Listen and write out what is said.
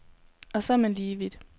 Og så er man lige vidt.